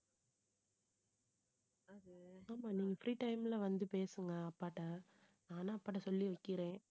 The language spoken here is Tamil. ஆமா, நீங்க free time ல வந்து பேசுங்க அப்பாட்ட நானும் அப்பாட்ட சொல்லி வைக்கிறேன்